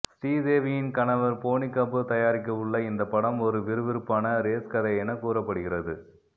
ஸ்ரீதேவியின் கணவர் போனிகபூர் தயாரிக்கவுள்ள இந்த படம் ஒரு விறுவிறுப்பான ரேஸ் கதை என கூறப்படுகிறது